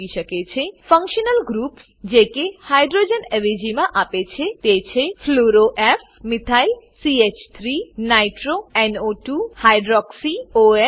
functional groups functional groups જે કે hydrogen અવેજીમાં આપે છે તે છે fluoro fluoro F methyl methyl CH three nitro nitro NO two hydroxy hydroxy OH અને અન્ય